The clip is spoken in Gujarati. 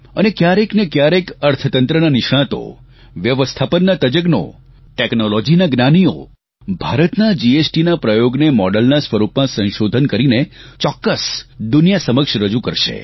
અને ક્યારેક ને ક્યારેક અર્થતંત્રના નિષ્ણાતો વ્યવસ્થાપનના તજજ્ઞો ટેકનોલોજીના જ્ઞાનીઓ ભારતના જીએસટીના પ્રયોગને મોડેલના સ્વરૂપમાં સંશોધન કરીને ચોક્કસ દુનિયા સમક્ષ રજૂ કરશે